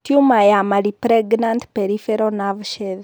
Tiuma ya malignant peripheral nerve sheath.